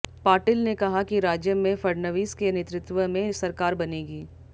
पाटिल ने कहा कि राज्य में फडणवीस के नेतृत्व में सरकार बनेगी